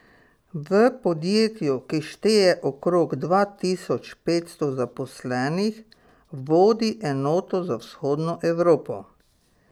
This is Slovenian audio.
V podjetju, ki šteje okrog dva tisoč petsto zaposlenih, vodi enoto za Vzhodno Evropo.